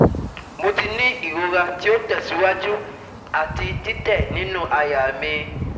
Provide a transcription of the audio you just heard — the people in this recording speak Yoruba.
Mo ti ni irora ti o tẹsiwaju ati titẹ ninu àyà mi